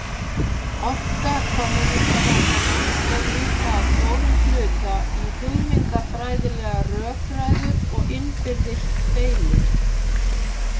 Orka kommúnistahópanna fór líka að stórum hluta í hugmyndafræðilegar rökræður og innbyrðis deilur.